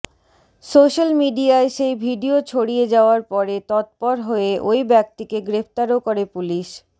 social মিডিয়ায় সেই video ছড়িয়ে যাওয়ার পরে তৎপর হয়ে ওই ব্যক্তিকে গ্রেফতারও করে পুলিশ